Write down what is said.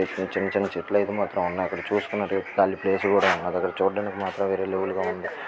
చిన్న చిన్న చెట్లైతే మాత్రం ఉన్నాయి ఇక్కడ చూస్తున్నట్లైతే కాలి ప్లేస్ కూడా ఉన్నది ఇక్కడ చూడ్డానికి మాత్రం వీరె లెవెల్ గ ఉంది.